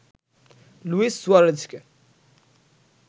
Luis সুয়ারেজকে